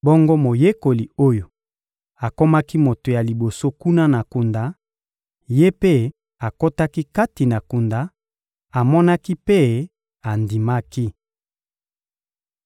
Bongo moyekoli oyo akomaki moto ya liboso kuna na kunda, ye mpe akotaki kati na kunda; amonaki mpe andimaki.